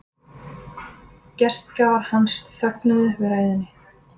Gestgjafar hans þögðu við ræðunni.